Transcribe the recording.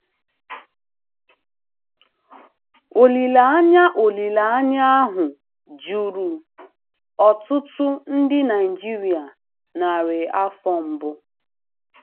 Olileanya Olileanya ahụ juru ọtụtụ ndị Naijiria narị afọ mbụ.